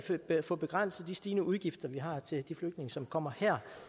at få begrænset de stigende udgifter vi har til de flygtninge som kommer her